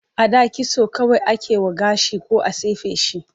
A da kitso kawai ake yi wa gashi ko a tufke shi.